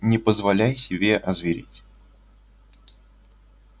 не позволяй себе озвереть